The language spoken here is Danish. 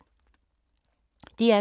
DR2